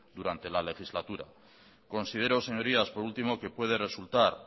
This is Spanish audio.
durante la legislatura considero señorías por último que puede resultar